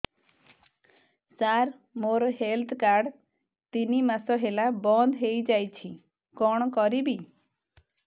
ସାର ମୋର health card ତିନି ମାସ ହେଲା ବନ୍ଦ ହେଇଯାଇଛି କଣ କରିବି